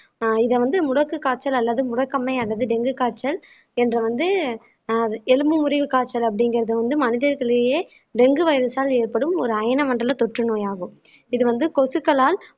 ஆஹ் இத வந்து முடக்கு காய்ச்சல் அல்லது முடக்கமை அல்லது டெங்கு காய்ச்சல் என்று வந்து எலும்பு முறிவு காய்ச்சல் அப்படிங்கறது வந்து மனிதர்களிலேயே டெங்கு வைரஸால் ஏற்படும் ஒரு அயன மண்டல தொற்றுநோய் ஆகும் இது வந்து கொசுக்களால்